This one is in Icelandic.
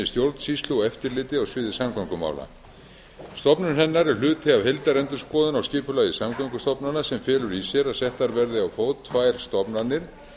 stjórnsýslu og eftirliti á sviði samgöngumála stofnun hennar er hluti af heildarendurskoðun á skipulagi samgöngustofnana sem felur í sér að settar verði á fót tvær stofnanir